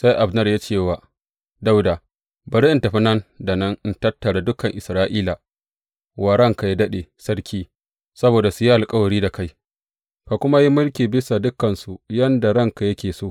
Sai Abner ya ce wa Dawuda, Bari in tafi nan da nan in tattara dukan Isra’ila wa ranka yă daɗe, sarki, saboda su yi alkawari da kai, ka kuma ka yi mulki bisa dukansu yadda ranka yake so.